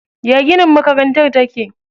Ya ginin makarantar take?